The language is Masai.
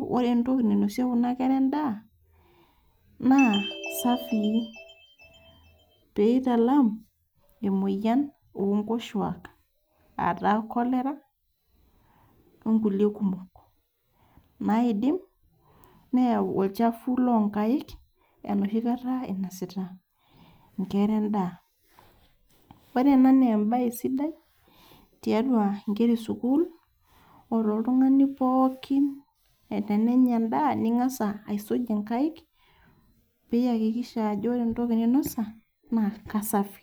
ore entoki nainosie kuna kera endaa naa kesafii pee italam imuoyaritin enkoshoke